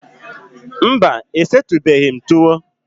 Mba, e setubeghi m tuwo